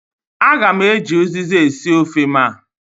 Aga m eji uziza esi ofe m a.